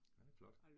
Ja, det flot